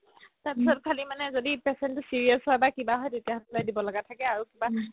তাৰ পাছত খালি মানে যদি patient তো serious হয় বা কিবা হয় তেতিয়া সলাই দিব লাগা থাকে আৰু কিবা